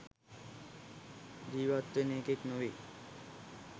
ජිවත් වෙන එකෙක් නොවෙයි.